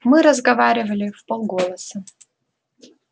мы разговаривали вполголоса